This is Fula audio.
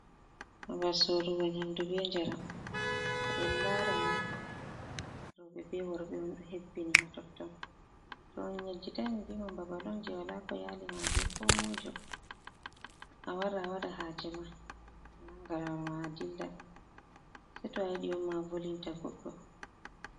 Babal sorugo nyamdu be njaram to en laranni. Roɓe be worɓe on ɗo hebbini ha totton to on yejjitai ni mi vi men babal on jei wala ko yali ma be ko moijo. Awara awaɗa ha je ma a nanga lawol ma a dilla sei to a yiɗi on ma a volinta goɗɗo.